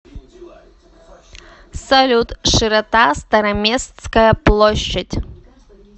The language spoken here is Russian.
салют широта староместская площадь